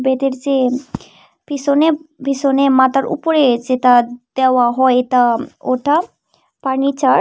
বেডের যে পিসনে পিসনে মাতার উপরে যেটা দেওয়া হয় তা ওটার ফার্নিচার ।